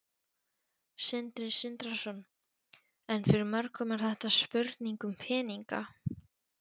Sindri Sindrason: En fyrir mörgum er þetta spurning um peninga?